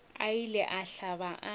a ile a hlaba a